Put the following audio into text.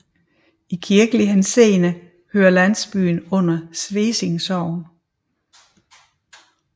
I kirkelig henseende hører landsbyen under Svesing Sogn